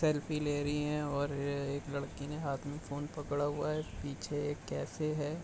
Selfie ले रही हैं और एक लड़की ने हाथ में फ़ोन पकड़ा हुआ है पीछे एक कैफ़े है।